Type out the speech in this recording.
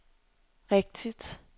rigtigt